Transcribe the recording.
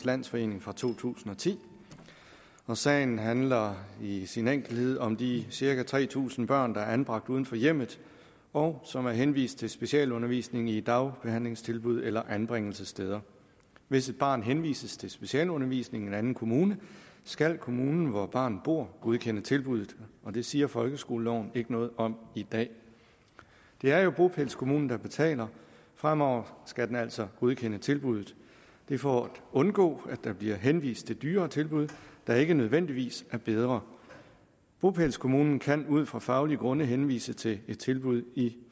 landsforening fra to tusind og ti og sagen handler i sin enkelthed om de cirka tre tusind børn der er anbragt uden for hjemmet og som er henvist til specialundervisning i dagbehandlingstilbud eller anbringelsessteder hvis et barn henvises til specialundervisning i en anden kommune skal kommunen hvor barnet bor godkende tilbuddet og det siger folkeskoleloven ikke noget om i dag det er jo bopælskommunen der betaler fremover skal den altså godkende tilbuddet det er for at undgå at der bliver henvist til dyrere tilbud der ikke nødvendigvis er bedre bopælskommunen kan ud fra faglige grunde henvise til et tilbud i